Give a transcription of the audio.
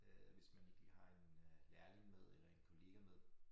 Øh hvis man ikke lige har en øh lærling med eller en kollega med